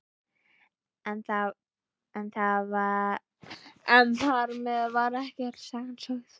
En þar með var ekki öll sagan sögð.